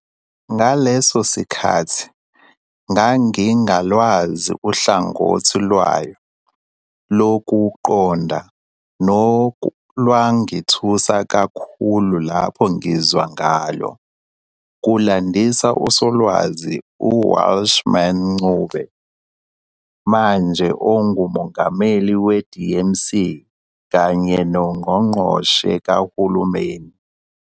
Ngaleso sikhathi ngangingalwazi uhlangothi lwayo lokuqonda nolwangithusa kakhulu lapho ngizwa ngalo ", kulandisa uSolwazi Welshman Ncube, manje onguMongameli weMDC kanye noNgqongqoshe kaHulumeni.